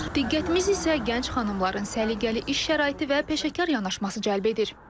Diqqətimiz isə gənc xanımların səliqəli iş şəraiti və peşəkar yanaşması cəlb edir.